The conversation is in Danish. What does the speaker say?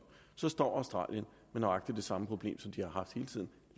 på nej som